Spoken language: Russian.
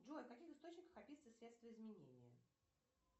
джой в каких источниках описываются средства изменения